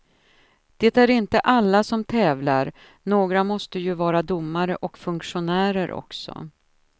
Det är inte alla som tävlar, några måste ju vara domare och funktionärer också.